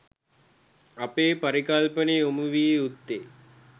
අපගේ පරිකල්පනය යොමු විය යුත්තේ